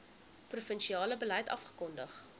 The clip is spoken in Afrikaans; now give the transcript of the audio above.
provinsiale beleid afgekondig